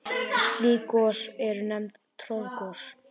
Slík gos eru nefnd troðgos.